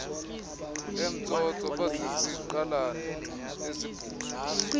emtsotso baziziqalane ezibhuzwa